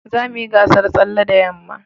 za mu yi gasan tsalle da yamma